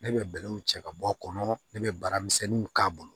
Ne bɛ bɛlɛw cɛ ka bɔ a kɔnɔ ne bɛ baaramisɛnninw k'a bolo